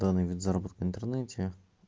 данный вид заработка в интернете